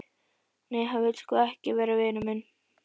Nei, hann vill sko ekki vera vinur minn.